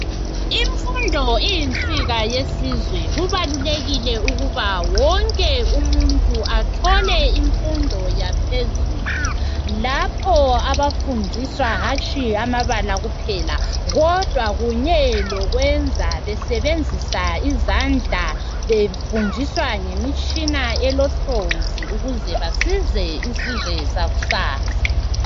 Imfundo iyinsika yesizwe kubalulekile ukuba wonke umuntu athole imfundo yaphezulu lapho abafundiswa hatshi amabala kuphela kodwa kunye lokwenza besebenzisa izandla befundiswa ngemitshina elohlonzi ukuze basize isizwe sakusasa.